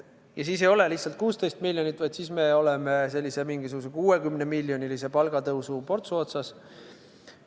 Ja siis ei ole see lihtsalt 16 miljonit, vaid siis me oleme mingisuguse 60-miljonilise palgatõusu portsu otsas.